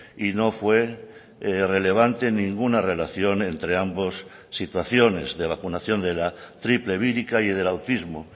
y no fue relevante ninguna relación entre ambos situaciones de vacunación de la triple vírica y del autismo